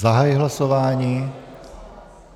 Zahajuji hlasování.